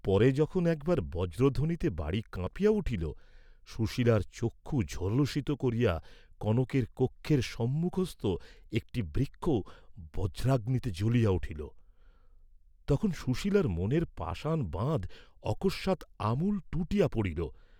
পরে, যখন একবার বজ্রধ্বনিতে বাড়ী কাঁপিয়া উঠিল, সুশীলার চক্ষু ঝলসিত করিয়া কনকের কক্ষের সম্মুখস্থ একটী বৃক্ষ বজ্রাগ্নিতে জ্বলিয়া উঠিল, তখন সুশীলার মনের পাষাণ বাঁধ অকস্মাৎ আমূল টুটিয়া পড়িল।